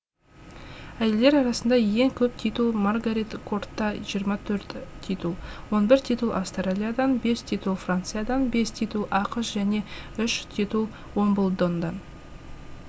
әйелдер арасында ең көп титул маргарет кортта жиырма төрт титул он бір титул австралиядан бес титул франциядан бес титул ақш және үш титул уимблдондан